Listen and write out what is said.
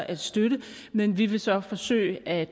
at støtte det men vi vil så forsøge at